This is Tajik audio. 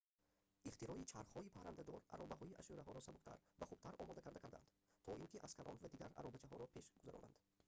ихтирои чархҳои паррадор аробаҳои ашшураҳоро сабуктар ва хубтар омодакарда карданд то ин ки аскарон ва дигар аробачаҳоро пеш гузаронанд